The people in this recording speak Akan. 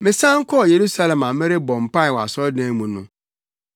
“Mesan kɔɔ Yerusalem na merebɔ mpae wɔ asɔredan mu no,